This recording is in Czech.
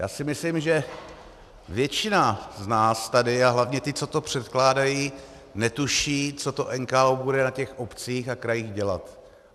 Já si myslím, že většina z nás tady a hlavně ti, co to předkládají, netuší, co ten NKÚ bude na těch obcích a krajích dělat.